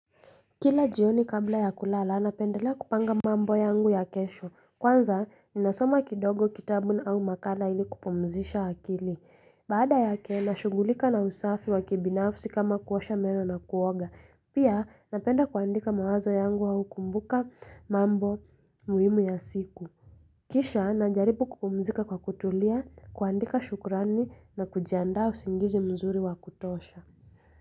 Kila jioni kabla ya kulala, napendelea kupanga mambo yangu ya kesho. Kwanza, ni nasoma kidogo kitabu na au makala ili kupomzisha akili. Baada yake, nashugulika na usafi wa kibinafsi kama kuosha meno na kuoga. Pia, napenda kuandika mawazo yangu wa ukumbuka mambo muhimu ya siku. Kisha, najaripu kupomzika kwa kutulia, kuandika shukurani na kujiandao singizi mzuri wa kutosha.